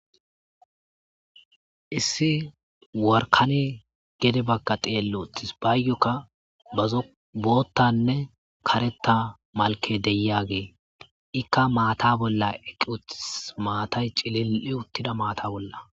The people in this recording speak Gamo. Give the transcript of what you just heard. Issi warkane gede bagka xeello uttis baayoka bazo boottanne karetta malke deyagee ikka maata bolla eqqi uttis maatay cilil'i uttida maata bolla.